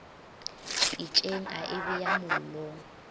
pitšeng a e beya mollong